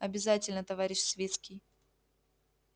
обязательно товарищ свицкий